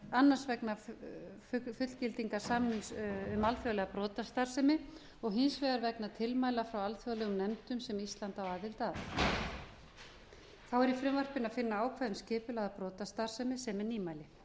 annars vegna fullgildingar samnings um alþjóðlega brotastarfsemi og hins vegar vegna tilmæla frá alþjóðlegum nefndum sem ísland á aðild að þá er í frumvarpinu að finna ákvæði um skipulagða brotastarfsemi sem er nýmæli